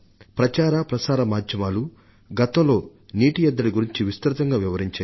ప్రచార మాధ్యమాలు ప్రసార మాధ్యమాలు గతంలో నీటి ఎద్దడిని గురించి విస్తృతంగా వివరించాయి